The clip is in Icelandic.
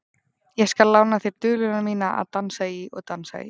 Ég skal lána þér duluna mína að dansa í og dansa í.